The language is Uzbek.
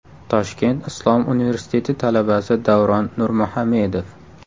Toshkent islom universiteti talabasi Davron Nurmuhamedov.